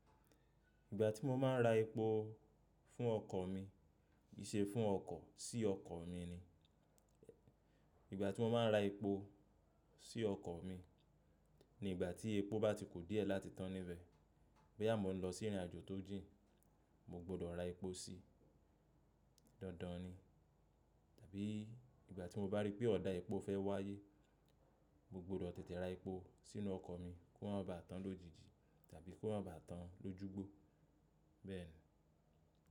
Ìgbà tí mo máa ń ra epo fún ọkọ̀ mi, ì ṣe fún ọkọ̀ sí ọkọ̀ mi ni. Ìgbà tí mo máa ń ra epo sí ọkọ̀ mi ni ìgbà tí epo bá ti ku díẹ̀ láti tán níbẹ̀. Boyà mọ ń lọ sí ìrìnàjò tó jìn, mo gbọdọ̀ ra epo sí. Dandan ni. Tàbí ìgbà tí mo bá rí pé ọ̀dà epo fẹ́ wáyé, mo gbọdọ̀ tètè ra epo sínú ọkọ̀ mi kó ma bá tán lójijì tàbí kó ma bá tán lójúgbó. Bẹ́ẹ̀ ni.